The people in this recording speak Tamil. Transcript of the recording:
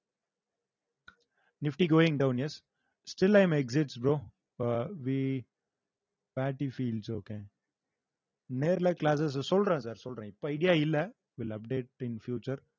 nifty going down yes still i am exits bro we party feels okay நேர்ல classes அ சொல்றேன் sir சொல்றேன் இப்ப idea இல்ல will update in future